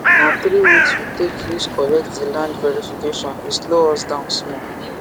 na three weeks we take use collect the land verification e slow us down small